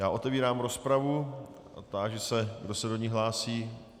Já otevírám rozpravu a táži se, kdo se do ní hlásí.